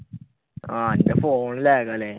ആഹ് അന്റെ lag phone ആണല്ലേ